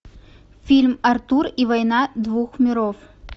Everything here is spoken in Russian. фильм артур и война двух миров